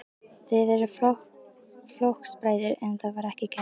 Þið eruð flokksbræður, en það var ekki gert?